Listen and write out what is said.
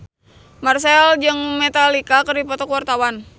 Marchell jeung Metallica keur dipoto ku wartawan